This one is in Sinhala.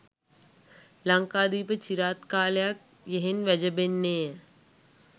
ලංකාදීප චිරාත් කාලයක් යෙහෙන් වැජඹෙන්නේ